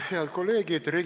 Head kolleegid!